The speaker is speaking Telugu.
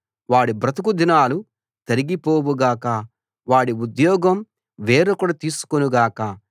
వాడి బ్రతుకు దినాలు తరిగిపోవు గాక వాడి ఉద్యోగం వేరొకడు తీసుకొను గాక